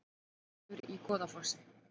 Eldur í Goðafossi